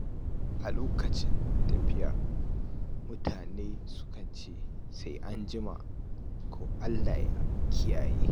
A lokacin tafiya, mutane sukan ce “Sai an jima” ko “Allah ya kiyaye hanya.”